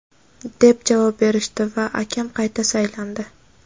deb javob berishdi va akam qayta saylandi.